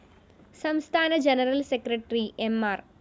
സംസ്ഥാന general secretary M R